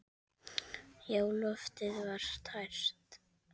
Já, loftið var tært.